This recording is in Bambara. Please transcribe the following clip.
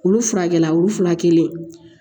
Olu furakɛla olu fura kelen